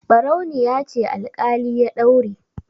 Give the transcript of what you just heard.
Ɓarauniya ce alƙali ya daure.